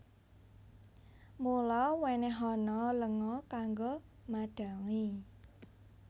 Mula wènèhana lenga kanggo madhangi